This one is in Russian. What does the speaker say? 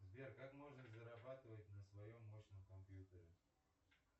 сбер как можно зарабатывать на своем мощном компьютере